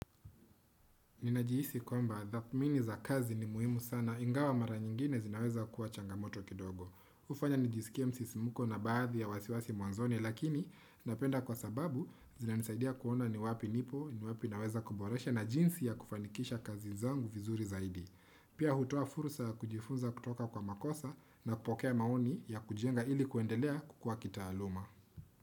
Ninajihisi kwamba dhamini za kazi ni muhimu sana ingawa mara nyingine zinaweza kuwa changamoto kidogo. Hufanya nijisikie msisimko na baadhi ya wasiwasi mwanzoni lakini napenda kwa sababu zinanisaidia kuona ni wapi nipo ni wapi naweza kuboresha na jinsi ya kufanikisha kazi zangu vizuri zaidi. Pia hutoa fursa ya kujifunza kutoka kwa makosa na kupokea maoni ya kujenga ili kuendelea kua kitaaluma.